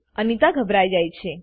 અનીતા ઘભરાઈ જાય છે